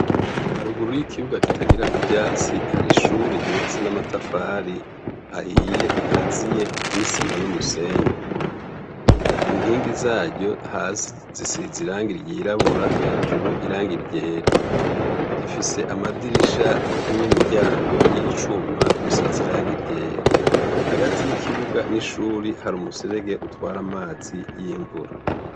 Haruguru y'ikibuga kitagirako ivyatsi hari ishure ryubatse n'amatafari ahiye rikaziye n'isima n'umusenyi. Inkingi zaryo hasi zisize irangi ry'irabura hejuru irangi ryera. Rifise amadirisha n'imiryango y'icuma bisize irangi ryera. Hagati y'ikibuga n'ishure hari umuserege utwara amazi y'imvura.